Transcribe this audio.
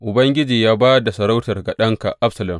Ubangiji ya ba da masarautar ga ɗanka Absalom.